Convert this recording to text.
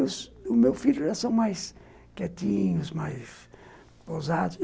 Os meus filhos já são mais quietinhos, mais ousados.